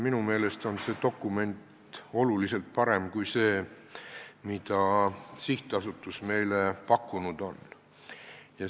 Minu meelest on see dokument oluliselt parem kui see, mida sihtasutus meile pakkunud on.